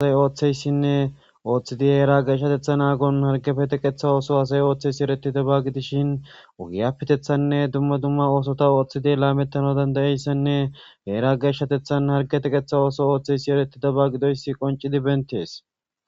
Hasay ooththeyssinne ooththidi heera geeshshatetha aagon hargefeteqetha ooso hasay ooththeysi ereti dabagidishin ugiyaptethanne dumma dumma oosota ooththidi laamettana dandayeyssenne heera geshshatethan hargeteqetha ooso ooththeysi ereti daba gidoysi qoncidi bentees.